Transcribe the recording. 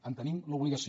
en tenim l’obligació